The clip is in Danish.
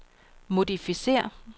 modificér